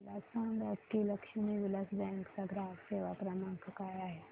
मला सांगा की लक्ष्मी विलास बँक चा ग्राहक सेवा क्रमांक काय आहे